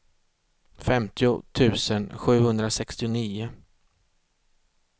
femtio tusen sjuhundrasextionio